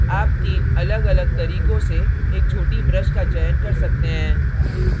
आप तीन अलग अलग तरीकों से एक छोटी brush का चयन कर सकते हैं